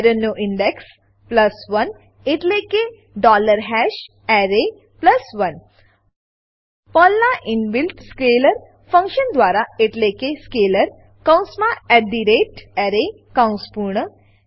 એરેનો index 1 એટલે કે array 1 પર્લનાં ઇનબિલ્ટ સ્કેલર ફંક્શન દ્વારા એટલે કે સ્કેલર કૌંસમાં array કૌંસ પૂર્ણ